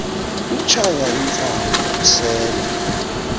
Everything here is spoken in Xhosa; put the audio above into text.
utshaya intsangu usela